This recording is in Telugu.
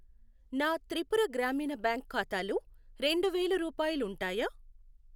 నా త్రిపుర గ్రామీణ బ్యాంక్ ఖాతాలో రెండు వేలు రూపాయాలుంటాయా?